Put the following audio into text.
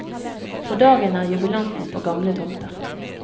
På dagen er jubilanten på gamle tomter.